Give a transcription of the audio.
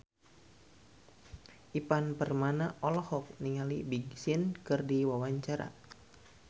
Ivan Permana olohok ningali Big Sean keur diwawancara